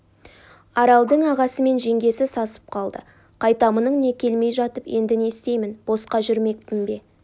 аралдың ағасы мен жеңгесі сасып қалды қайтамының не келмей жатып енді не істеймін босқа жүрмекпін бе